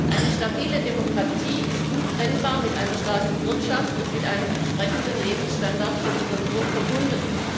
Eine stabile Demokratie ist untrennbar mit einer starken Wirtschaft und mit einem entsprechenden Lebensstandard der Bevölkerung verbunden.